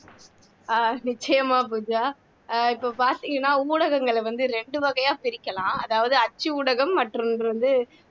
அஹ் நிச்சயமா பூஜா இப்போ பாத்தீங்கன்னா ஊடகங்களை வந்து இரண்டு வகையா பிரிக்கலாம் அதாவது அச்சு ஊடகம் மற்றொன்று வந்து